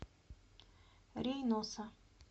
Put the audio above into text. рейноса